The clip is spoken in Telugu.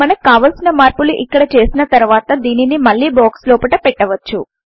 మనకు కావలసిన మార్పులు ఇక్కడ చేసిన తర్వాత దీనిని మళ్లీ బాక్స్ లోపట పెట్టవచ్చు